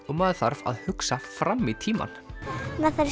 og maður þarf að hugsa fram í tímann maður þarf